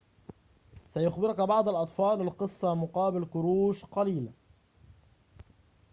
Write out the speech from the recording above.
سيخبرك بعض الأطفال القصة مقابل قروش قليلة